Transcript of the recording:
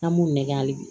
An b'u nɛgɛ hali bi